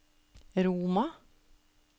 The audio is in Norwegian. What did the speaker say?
Roma